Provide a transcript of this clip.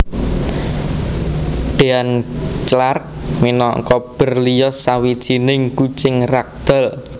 Dean Clark minangka Berlioz Sawijining kucing ragdoll